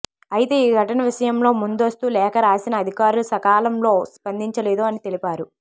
అయితే ఈ ఘటన విషయం లో ముందస్తు లేఖ రాసిన అధికారులు సకాలం లో స్పందించలేదు అని తెలిపారు